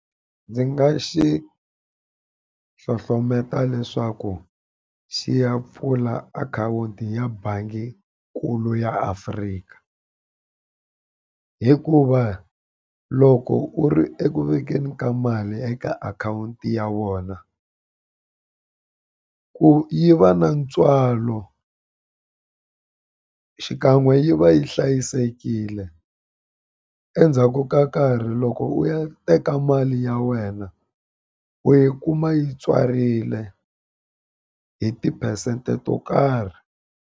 Ndzi nga xi hlohlotela leswaku xi ya pfula akhawunti ya bangikulu ya Africa. Hikuva loko u ri eku vekeni ka mali eka akhawunti ya vona, ku yiva na ntswalo xikan'we yi va yi hlayisekile, endzhaku ka nkarhi loko u ya teka mali ya wena u yi kuma yi tswarile hi tiphesente to karhi.